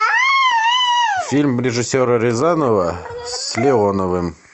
фильм режиссера рязанова с леоновым